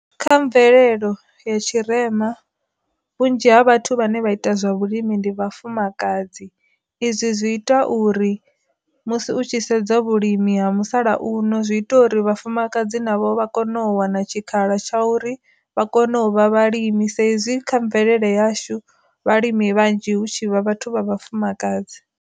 Kha mvelelo ya tshirema, vhunzhi ha vhathu vhane vha ita zwa vhulimi ndi vhafumakadzi, izwi zwi ita uri musi u tshi sedza vhulimi ha musalauno zwi ita uri vhafumakadzi navho vha kone u wana tshikhala tsha uri vha kone u vha vhalimi, saizi kha mvelele yashu vhalimi vhanzhi hu tshi vha vhathu vha vhafumakadzi.